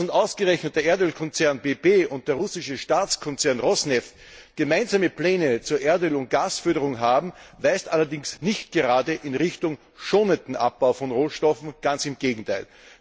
Dass nun ausgerechnet der Erdölkonzern BP und der russische Staatskonzern Rosneft gemeinsame Pläne zur Erdöl und Gasförderung haben, weist allerdings nicht gerade in Richtung eines schonenden Abbaus von Rohstoffen ganz im Gegenteil!